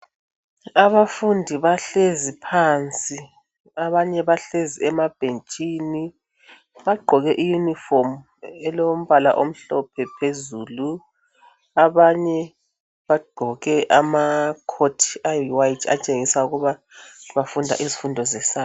Abafundi bahlezi phansi abanye bahlezi emabhentshini. Bagqoke iyunifomi elombala omhlophe phezulu. Abanye bagqoke ama coat amhlophe okutshengisela ukuthi bafunda izifundo ze science.